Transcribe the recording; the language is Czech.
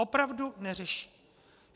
Opravdu neřeší.